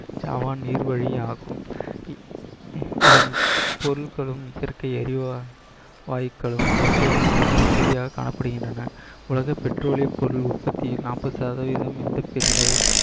Javan நீர்வழி ஆகும். இ~ இதன் பொருள்களும் இயற்கை எரிவா~ வாயுக்களும் இயற்கையான மிகுதியாக காணப்படுகின்றன உலக பெட்ரோலிய பொருள் உற்பத்தி நாற்பது சதவீதம் இந்திய பெருங்கடல்